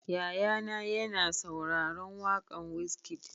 Yaya na ya na sauraron waƙan Wizkid